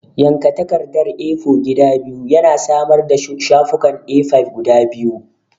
Yanka takardar A4 gida biyu yana samar da shafukan A5 guda biyu.